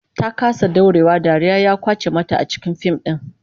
Ta kasa daurewa, dariya ya kwace mata a cikin fim din